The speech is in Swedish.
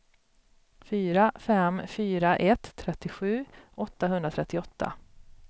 fyra fem fyra ett trettiosju åttahundratrettioåtta